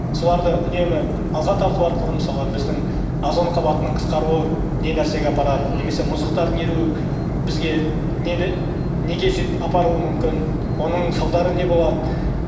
соларды үнемі алға тарту арқылы мысалы біздің озон қабатының қысқаруы не нәрсеге апарады немесе мұздықтардың еруі бізге нені неге жетіп апаруы мүмкін оның салдары не болады